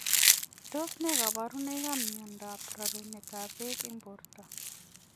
Tos nee kabarunoik ap miondoop rerunet ap peek eng portoo?